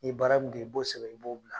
Ni ye baara min kɛ, i b'o sɛbɛn, i b'o bila.